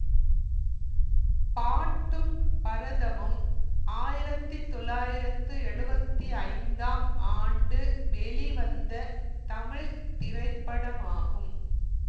பாட்டும் பரதமும் ஆயிரத்தி தொள்ளாயிரத்து எழுவத்தி ஐந்தாம் ஆண்டு வெளிவந்த தமிழ் திரைப்படமாகும்